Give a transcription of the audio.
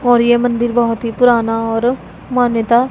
और यह मंदिर बहोत ही पुराना और मान्यता--